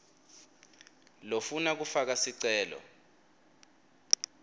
lofuna kufaka sicelo